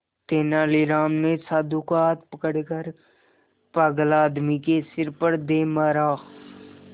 तेनालीराम ने साधु का हाथ पकड़कर पागल आदमी के सिर पर दे मारा